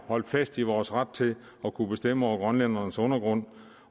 at holde fast i vores ret til at kunne bestemme over grønlændernes undergrund